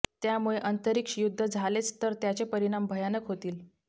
त्यामुळे अंतरिक्ष युद्ध झालेच तर त्याचे परिणाम भयानक होतील